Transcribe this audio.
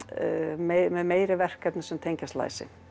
með meiri verkefni sem tengjast læsi